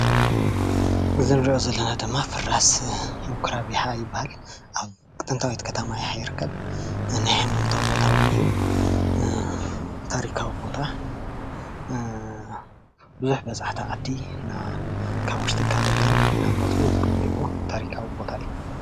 እዚ እንሪኦ ዘለና ድማ ፍራስ ምኩራብ ይሓ ይበሃል። ኣብ ጥንታዊት ከተማ ይሓ ይርከብ። ሃይማኖታዊ ውን እዪ። ታሪካዊ ቦታ ቡዙሕ በፃሕታ ዓዲ ካብ ውሽጥን ካብ ደገን እናመፁ ዝግብንዎን ታሪኻዊ ቦታ እዩ።